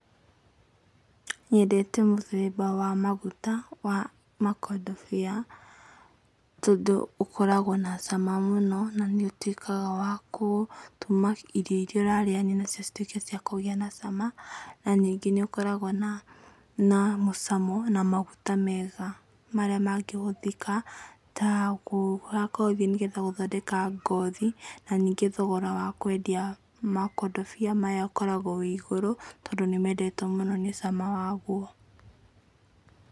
Nyendete mũthemba wa maguta wa makondobia, tondũ ũkoragwo na cama mũno na nĩ ũtuĩkaga wa gũtũma irio iria ũrarĩania nacio cituĩke cia kũgĩa na cama, na ningĩ nĩ ũkoragwo, na mũcamo na maguta mega marĩa mangĩhũthĩka ta ma ngothi, nĩgetha gũthondeka ngothi, na ningĩ thogora wa kwendia makondobia maya ũkoragwo wĩ igũrũ, tondũ nĩ mendetwo mũno nĩ cama waguo.